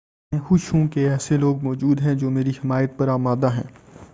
میں خوش ہوں کہ ایسے لوگ موجود ہیں جو میری حمایت پر آمادہ ہیں